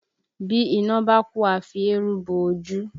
Bí iná bá kú a fi eérú bo ojú